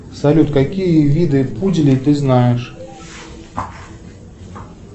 салют какие виды пуделей ты знаешь